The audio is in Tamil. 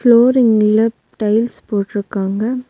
ஃபுலோரிங்குல டைல்ஸ் போட்ருக்காங்க.